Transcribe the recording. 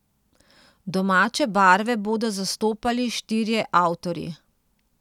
Domače barve bodo zastopali štirje avtorji.